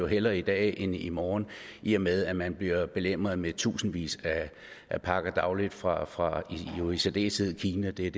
hellere i dag end i morgen i og med at man bliver belemret med tusindvis af pakker dagligt fra fra jo i særdeleshed kina det er